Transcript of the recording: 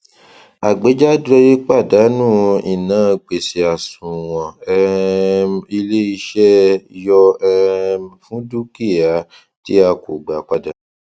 àgbéjáde pàdánù inágbèsèàṣùwọn um ilé iṣẹ yọ um fúndúkìá tí a kò gbà padà